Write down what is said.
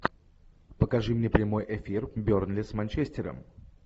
покажи мне прямой эфир бернли с манчестером